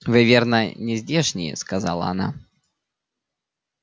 вы верно не здешние сказала она